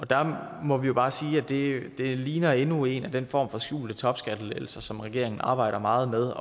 der må vi jo bare sige at det ligner endnu en af den form for skjulte topskattelettelser som regeringen arbejder meget med